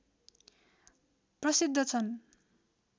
प्रसिद्ध छन्